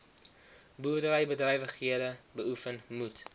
boerderybedrywighede beoefen moet